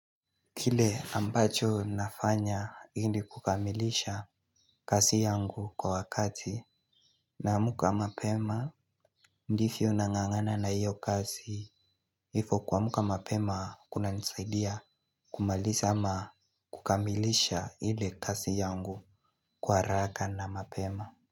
Kile ambacho nafanya ili kukamilisha kazi yangu kwa wakati naamka mapema ndivyo nangangana na hiyo kazi hifo kua muka mapema kuna nisaidia kumalisa ama kukamilisha hile kasi yangu kwa haraka na mapema.